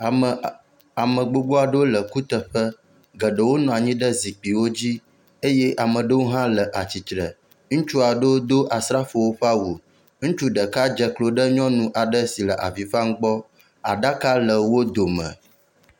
Ame a ame gbogbo aɖewo le kuteƒe. geɖewo nɔ anyi ɖe zikpuiwo dzi eye ame aɖewo hã le attire. Ŋutsu aɖewo do asrafo ƒe awu. Ŋutsu ɖeka dze klo ɖe nyɔnu ɖeka aɖe si le avi fam gbɔ. Aɖaka le wo dome.